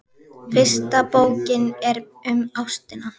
Fyrsta bókin er um ástina.